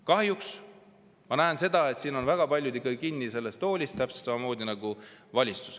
Kahjuks ma näen, et siin väga paljud ikkagi kinni sellest toolist, täpselt samamoodi nagu valitsus.